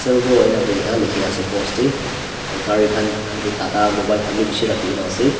servo enakoina likhi na ase post tae aro gari khan tata mobile khan bi bishi rakhikena ase.